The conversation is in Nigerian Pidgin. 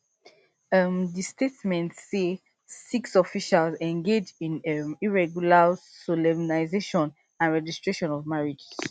um di statement say six officials engage in um irregular solemnisation and registration of marriages